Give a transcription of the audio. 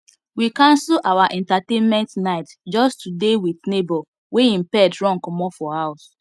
we cancel our entertainment night just to dey with neighbor wey him pet run comot for house